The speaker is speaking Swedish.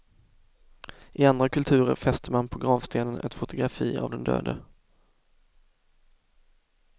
I andra kulturer fäster man på gravstenen ett fotografi av den döde.